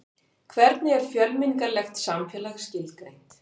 hvernig er fjölmenningarlegt samfélag skilgreint